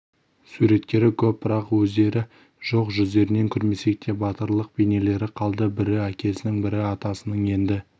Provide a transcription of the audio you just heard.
суреттері көп бірақ өздері жоқ жүздерін көрмесек те батырлық бейнелері қалды бірі әкесінің бірі атасының енді